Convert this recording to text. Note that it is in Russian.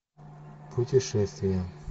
путешествие